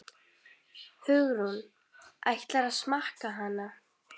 Hugrún: Ætlarðu að smakka hana?